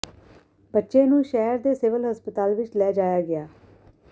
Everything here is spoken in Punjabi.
ਬੱਚੇ ਨੂੰ ਸ਼ਹਿਰ ਦੇ ਸਿਵਲ ਹਸਪਤਾਲ ਵਿਚ ਲੈ ਜਾਇਆ ਗਿਆ